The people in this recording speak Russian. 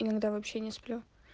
иногда вообще не сплю